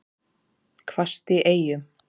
Hvasst í Eyjum